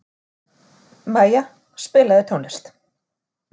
Maja, spilaðu tónlist.